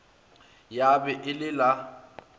ya be e le la